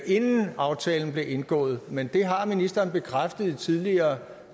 inden aftalen blev indgået men det har ministeren bekræftet ved tidligere